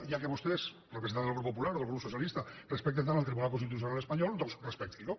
ja que vostès representants del grup popular o del grup socialista respecten tant el tribunal constitucional espanyol doncs respectin lo